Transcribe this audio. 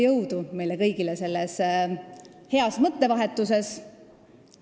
Jõudu meile kõigile selles heas mõttevahetuses!